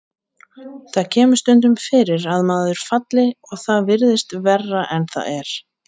En það kemur stundum fyrir að maður falli og það virðist verra en það er.